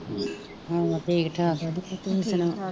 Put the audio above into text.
ਹੋਰ ਹੋਰ ਠੀਕ ਠਾਕ ਤੂ ਸੁਨਾਂ,